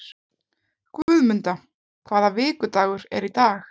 Guðmunda, hvaða vikudagur er í dag?